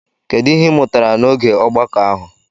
Kedu ihe ị mụtara n'oge ogbako ahụ?